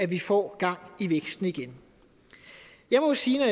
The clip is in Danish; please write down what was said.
vi får gang i væksten igen jeg må sige at